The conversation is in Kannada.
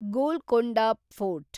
ಗೋಲ್ಕೊಂಡ ಫೋರ್ಟ್